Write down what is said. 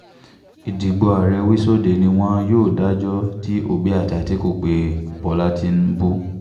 ìdìbò ààrẹ wíṣọdẹẹ́ ni wọn yóò dájọ́ tí òbí àti àtìkù pé bọ́lá tìǹbù